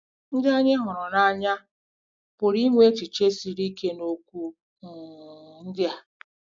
* Ndị anyị hụrụ n’anya pụrụ inwe echiche siri ike n’okwu um ndị a.